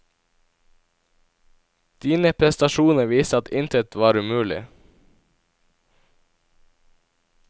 Dine prestasjoner viste at intet var umulig.